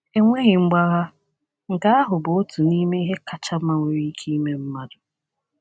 Enweghị mgbagha, nke ahụ bụ otu n’ime ihe kacha mma nwere ike ime mmadụ.